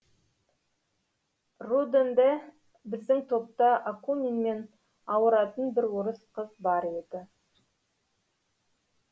рудн де біздің топта акунинмен ауыратын бір орыс қыз бар еді